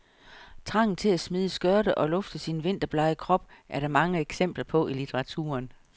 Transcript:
Trangen til at smide skørter og lufte sin vinterblege krop er der mange eksempler på i litteraturen.